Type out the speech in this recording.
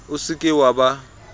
o se ke wa ba